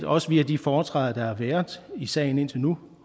også via de foretræder der har været i sagen indtil nu